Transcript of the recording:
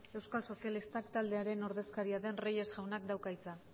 euskal sozialistak taldearen ordezkaria den reyes jaunak dauka hitza